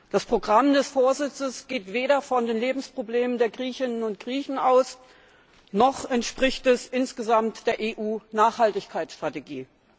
Das Programm des Vorsitzes geht weder von den Lebensproblemen der Griechinnen und Griechen aus, noch entspricht es insgesamt der EU Nachhaltigkeitsstrategie.